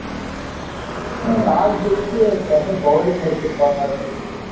toss ஜெயிச்சு Chennai bowling எடுத்துருப்பாங்களாட்டுருக்குது